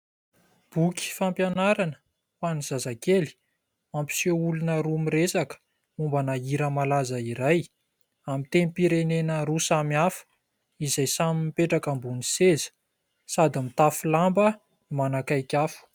Boky fampianarana ho any zazakely, mampiseho olona roa miresaka mombana hira malaza iray amin'ny tenim-pirenena roa samy hafa izay samy mipetraka ambon'ny seza sady mitafo lamba no manakaiky afo.